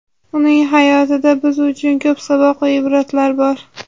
Uning hayotida biz uchun ko‘p saboq va ibratlar bor.